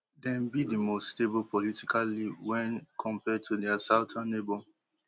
dem be di most stable politically wen compared to dia southern neighbour